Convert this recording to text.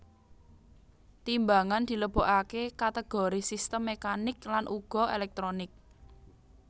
Timbangan dilebokaké kategori sistem mekanik lan uga elektronik